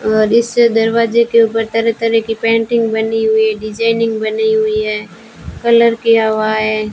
और इस दरवाजे के ऊपर तरह तरह की पेंटिंग बनी हुई है डिजाइनिंग बनी हुई है कलर किया हुआ है।